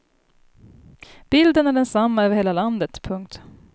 Bilden är densamma över hela landet. punkt